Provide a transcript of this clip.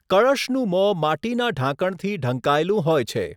કળશનું મોં માટીના ઢાંકણથી ઢંકાયેલું હોય છે.